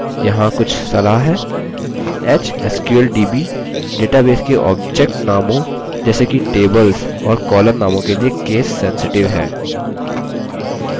hsqldb database के object नामों जैसे कि tables और column नामों के लिए case sensitive है